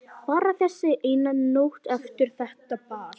Bara þessi eina nótt eftir þetta ball.